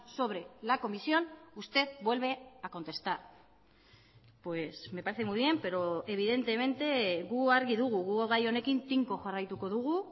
sobre la comisión usted vuelve a contestar pues me parece muy bien pero evidentemente gu argi dugu gu gai honekin tinko jarraituko dugu